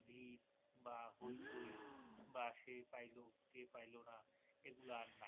ভিড় বা হৈচৈ বা সে পাইলো সে পাইলোনা এগুলা আর নাই